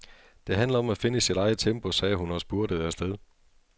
Det handler om at finde sit eget tempo, sagde hun og spurtede afsted.